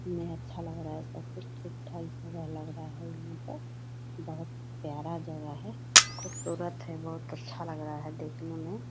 मैं अच्छा लग रहा है सब कुछ ठीक ठाक लग रहा है यहाँ पर बहोत प्यारा जगह है खुबसूरत है बहोत अच्छा लग रहा है देखने मे --